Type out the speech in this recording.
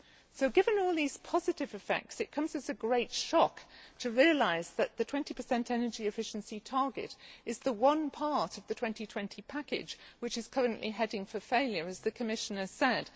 So, given all these positive effects, it comes as a great shock to realise that the 20 energy efficiency target is the one part of the 2020 package which is currently heading for failure, as the Commissioner said.